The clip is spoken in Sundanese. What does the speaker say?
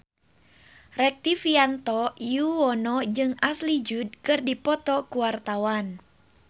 Rektivianto Yoewono jeung Ashley Judd keur dipoto ku wartawan